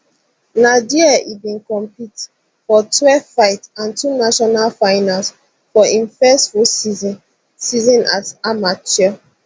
na dia e bin compete for twelve fights and two national finals for im first full season season as amateur